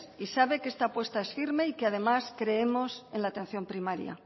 y sabe que esta apuesta es firme y que además creemos en la atención primaria